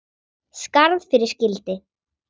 Skarð fyrir skildi.